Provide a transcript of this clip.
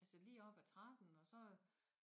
Altså lige op ad trappen og så